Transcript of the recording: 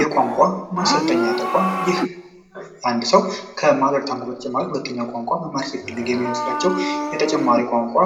የቋንቋ ማሰልጠኛ ይህ አንድ ሰው ቋንቋቸው ቋንቋ